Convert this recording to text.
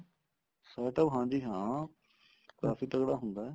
setup ਹਾਂਜੀ ਹਾਂ ਕਾਫੀ ਤਗੜਾ ਹੁੰਦਾ